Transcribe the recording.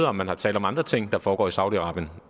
om man har talt om andre ting der foregår i saudi arabien